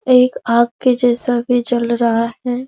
एक आग के जैसा भी जल रहा है।